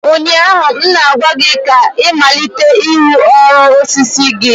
ụnyaahụ m na-agwa gị ka ị malite ịrụ ụlọ osisi gị!